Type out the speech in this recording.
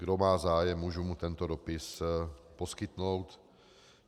Kdo má zájem, můžu mu tento dopis poskytnout.